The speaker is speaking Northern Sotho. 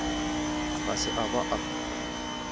ga se a ba a